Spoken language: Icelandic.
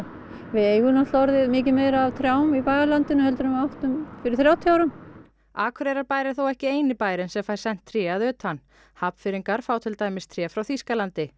við eigum náttúrulega miklu meira af trjám í bæjarlandinu en fyrir þrjátíu árum Akureyrarbær er þó ekki eini bærinn sem fær sent tré að utan Hafnfirðingar fá til dæmis tré frá Þýskalandi